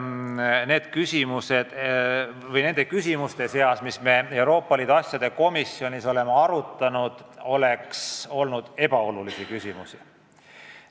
Ma ei saa öelda, et nende küsimuste seas, mida me Euroopa Liidu asjade komisjonis oleme arutanud, oleks olnud ebaolulisi küsimusi.